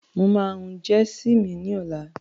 Mo ma hun jẹsì mi ní ọ̀lá.